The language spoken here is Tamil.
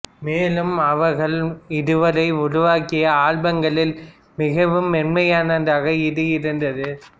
மேலும் அவர்கள் இதுவரை உருவாக்கிய ஆல்பங்களில் மிகவும் மென்மையானதாக இது இருந்தது